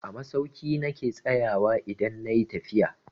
A masauki na ke tsayawa idan na yi tafiya.